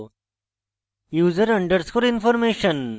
user underscore information